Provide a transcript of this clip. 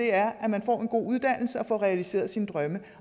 er at man får en god uddannelse og får realiseret sine drømme